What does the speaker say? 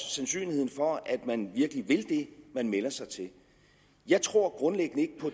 sandsynlighed for at man virkelig vil det man melder sig til jeg tror grundlæggende